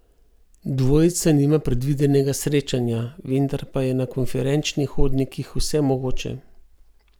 Dvojica nima predvidenega srečanja, vendar pa je na konferenčnih hodnikih vse mogoče.